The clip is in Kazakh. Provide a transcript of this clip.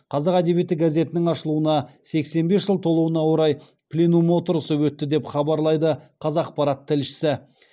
қазақ әдебиеті газетінің ашылуына сексен бес жыл толуына орай пленум отырысы өтті деп хабарлайды қазақпарат тілшісі